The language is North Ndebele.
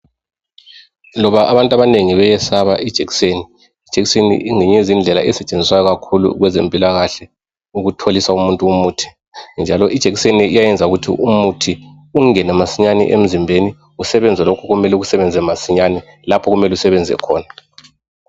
Loba abantu abanengi beyesaba ijekiseni ijekiseni ingeyinye yezindlela esetshenziswa kakhulu kwezempila kahle ukutholisa umuntu umuthi njalo ijekiseni iyayenza ukuthi umuthi ungene masinyane emzimbeni usebenze lokhu okumele ikusebenze masinyane lapho okumele usebenze khona